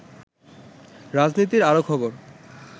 রাজনীতির আরো খবর